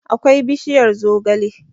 akwai bishiyar zogale